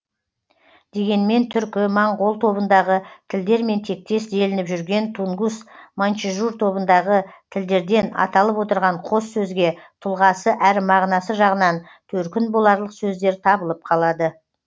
дегенмен түркі моңғол тобындағы тілдермен тектес делініп жүрген тунгус маньчжур тобындағы тілдерден аталып отырған қос сөзге тұлғасы әрі мағынасы жағынан төркін боларлық сөздер табылып қалады